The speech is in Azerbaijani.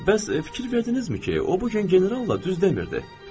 Bəs fikir verdinizmi ki, o bu gün generalla düz demirdi?